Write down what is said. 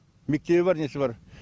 мектебі бар несі бар